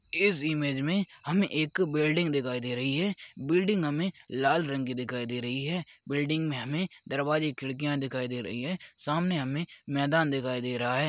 इस इमेज मे हमे एक बिल्डिंग दिखाई दे रही है बिल्डिंग हमे लाल रंग की दिखाई दे रही है बिल्डिंग मे हमे दरवाजे खिड़किया दिखाई दे रही है सामने हमे मैदान दिखाई दे रहा है।